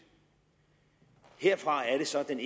herfra er det så den